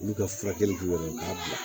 Olu ka furakɛli bɛ ka bila